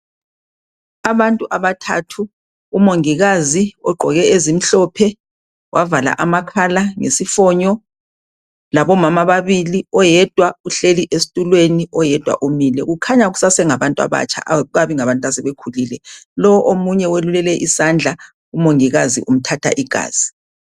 Abantu abathathu umongikazi ogqoke ezimhlophe wavala amakhala ngesifonyo. Labo mama ababili. Oyedwa uhleli esitulweni, oyedwa umile. Kukhanya kusesengabantu abatsha. Akukabi ngabantu asebekhulile. Lo omunye welule isandla. Umongikazi umthatha igazi.